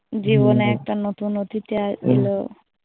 জীবনে একটা নতুন অতিথি এলো